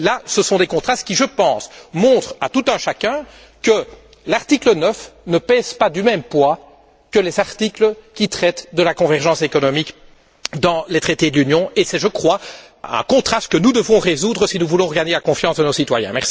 Ces contrastes, je pense, montrent à tout un chacun que l'article 9 ne pèse pas du même poids que les articles qui traitent de la convergence économique dans les traités de l'Union et c'est, je crois, un contraste que nous devons résoudre si nous voulons regagner la confiance de nos citoyens.